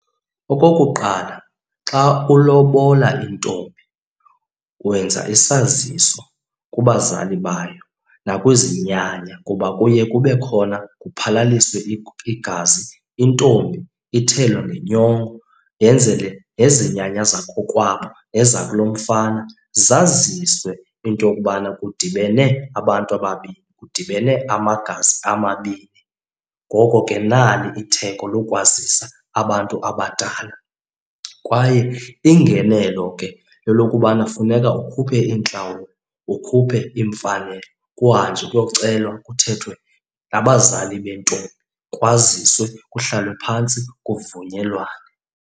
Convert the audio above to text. Okokuqala xa ulobola intombi wenza isaziso kubazali bayo nakwizinyanya kuba kuye kube khona kuphalaliswe igazi. Intombi ithelwa ngenyongo yenzele nezinyanya zakokwabo nezakulomfana zaziswe into yokubana kudibene abantu ababini, kudibene amagazi amabini ngoko ke nali itheko lokwazisa abantu abadala. Kwaye ingenelo ke lelokubana funeka ukhuphe iintlawulo, ukhuphe iimfanelo. Kuhanjwe kuyocelwa kuthethwe nabazali bentombi kwaziswe, kuhlalwe phantsi kuvunyelwane.